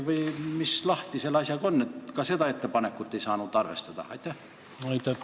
Mis selle asjaga ikka on, et ka seda ettepanekut ei saanud arvestada?